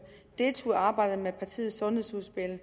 og deltog i arbejdet med partiets sundhedsudspil og